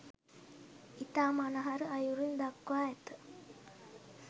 ඉතා මනහර අයුරින් දක්වා ඇත.